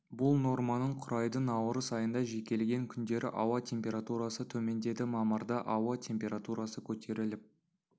бұл норманың құрайды наурыз айында жекелеген күндері ауа температурасы төмендеді мамырда ауа температурасы көтеріліп